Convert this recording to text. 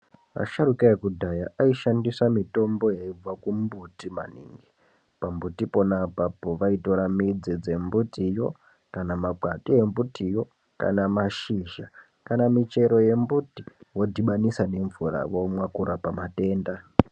Asharuka ekudhaya aishandisa mbuti inobva kumbuti maningi pambuti pana apapo vaitora mudzi dzembitiyo kana makwati embutiyo kana mashizha kana michero yembuti vodhibanisa nemvura vomwa kurapa matenda.